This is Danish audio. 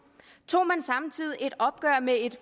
tog man samtidig et opgør med et